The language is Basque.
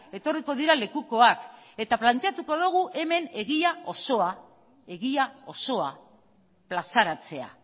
etorriko dira lekukoak eta planteatuko dugu hemen egia osoa egia osoa plazaratzea